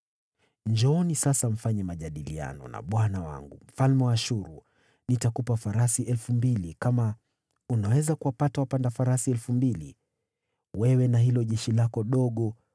“ ‘Njooni sasa, fanyeni mapatano na bwana wangu, mfalme wa Ashuru: Nitakupa farasi elfu mbili, kama unaweza kuwapandisha waendesha farasi juu yao!